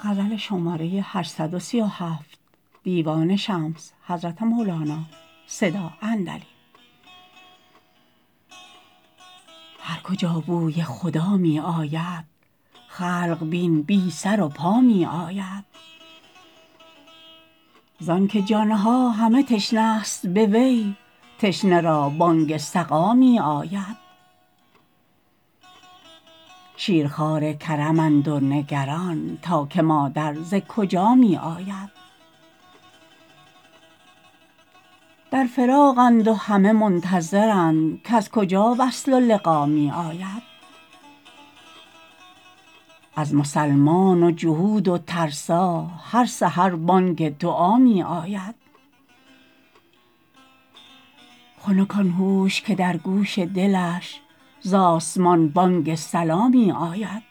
هر کجا بوی خدا می آید خلق بین بی سر و پا می آید زانک جان ها همه تشنه ست به وی تشنه را بانگ سقا می آید شیرخوار کرمند و نگران تا که مادر ز کجا می آید در فراقند و همه منتظرند کز کجا وصل و لقا می آید از مسلمان و جهود و ترسا هر سحر بانگ دعا می آید خنک آن هوش که در گوش دلش ز آسمان بانگ صلا می آید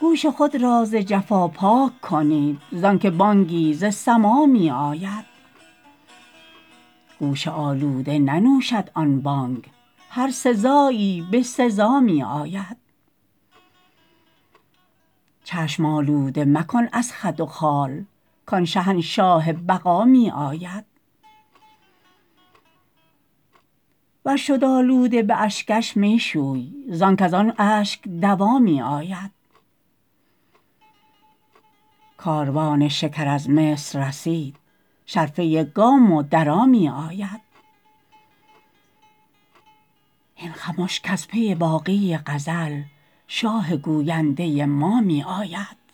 گوش خود را ز جفا پاک کنید زانک بانگی ز سما می آید گوش آلوده ننوشد آن بانگ هر سزایی به سزا می آید چشم آلوده مکن از خد و خال کان شهنشاه بقا می آید ور شد آلوده به اشکش می شوی زانک از آن اشک دوا می آید کاروان شکر از مصر رسید شرفه گام و درا می آید هین خمش کز پی باقی غزل شاه گوینده ما می آید